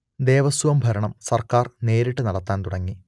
ദേവസ്വം ഭരണം സർക്കാർ നേരിട്ടു നടത്താൻ തുടങ്ങി